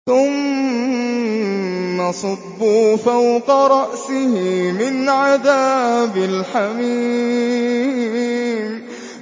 ثُمَّ صُبُّوا فَوْقَ رَأْسِهِ مِنْ عَذَابِ الْحَمِيمِ